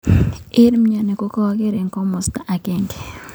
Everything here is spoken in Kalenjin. Eng mnyeni kokarkei eng kimosta agenge.